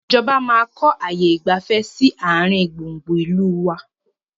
Ìjọba máa kọ ààyè ìgbafẹ́ sì àárín gbùngbùn ìlú wá